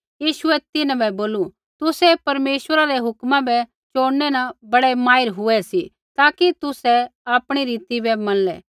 यीशुऐ तिन्हां बै बोलू तुसै परमेश्वरै रै हुक्मा बै चोड़नै न बड़ै माहिर हुऐ सी ताकि तुसै आपणी रीति बै मनलै